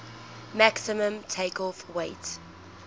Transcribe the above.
maximum takeoff weight